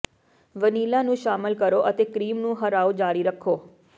vanilla ਨੂੰ ਸ਼ਾਮਲ ਕਰੋ ਅਤੇ ਕ੍ਰੀਮ ਨੂੰ ਹਰਾਓ ਜਾਰੀ ਰੱਖੋ